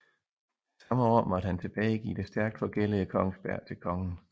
Samme år måtte han tilbagegive det stærkt forgældede Kongsberg til Kongen